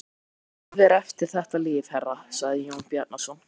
Líf er eftir þetta líf, herra, sagði Jón Bjarnason.